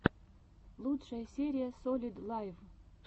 лучшая серия солид лайв